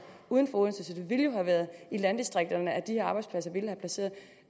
uden for odense så det ville jo have været i landdistrikterne at de arbejdspladser ville være placeret